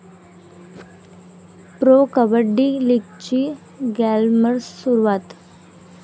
pro 'kabaddi' लीगची glamorous सुरुवात